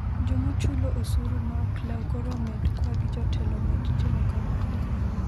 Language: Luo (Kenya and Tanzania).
Jomachulo osuru ma ok leu koro omed kwa gi jotelo omed timo kamano